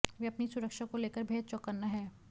वह अपनी सुरक्षा को लेकर बेहद चौकन्ना है